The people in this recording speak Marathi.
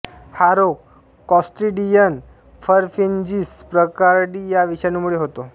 हा रोग क्लॉस्ट्रीडियम परफिन्जीस प्रकारडी या विषाणूंमुळे होतो